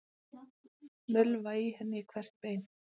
Mölva í henni hvert bein.